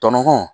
Tɔɲɔgɔn